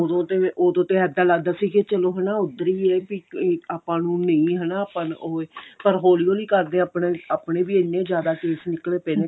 ਉਦੋਂ ਤੇ ਉਦੋਂ ਤੇ ਇੱਦਾਂ ਲਗਦਾ ਸੀ ਕੀ ਚੱਲੋ ਹਣਾ ਉੱਧਰ ਵੀ ਏ ਆਪਾਂ ਨੂੰ ਨਹੀਂ ਹਨਾ ਆਪਾਂ ਨੂੰ ਓਵੇਂ ਪਰ ਹੋਲੀ ਹੋਲੀ ਕਰਦੇ ਆਪਣੇ ਆਪਣੇ ਵੀ ਇੰਨੇ ਜਿਆਦਾ case ਨਿੱਕਲੇ ਪਏ ਨੇ